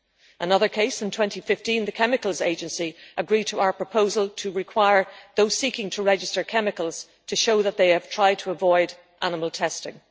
Another case in 2015 was when the European Chemicals Agency agreed to our proposal to require those seeking to register chemicals to show that they have tried to avoid animal testing.